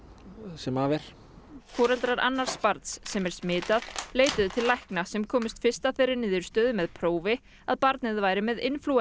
sem af er foreldrar annars barnsins sem er smitað leituðu til lækna sem komust fyrst að þeirri niðurstöðu með prófi að barnið væri með inflúensu